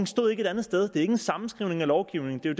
stod et andet sted det er ikke en sammenskrivning af lovgivningen det